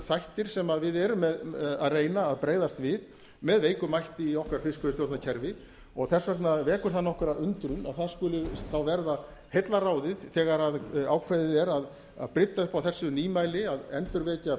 þættir sem við erum að reyna að bregðast við með veikum mætti í okkar fiskveiðistjórnarkerfi og þess vegna vekur það nokkra undrun að það skuli þá verða heillaráðið þegar ákveðið er að brydda upp á þessu nýmæli að endurvekja